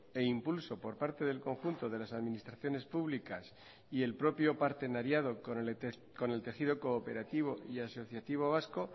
e impulso por parte del conjunto de las administraciones públicas y el propio partenariado con el tejido cooperativo y asociativo vasco